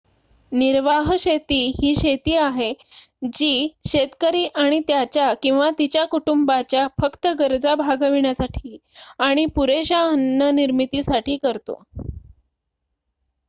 निर्वाह शेती ही शेती आहे जी शेतकरी आणि त्याच्या/तिच्या कुटुंबाच्या फक्त गरजा भागविण्यासाठी आणि पुरेश्या अन्न निर्मितीसाठी करतो